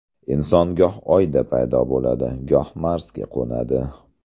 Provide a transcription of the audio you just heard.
Inson goh Oyda paydo bo‘ladi, goh Marsga qo‘nadi.